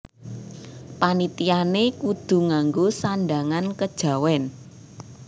Panitiané kudu ngango sandhangan kejawèn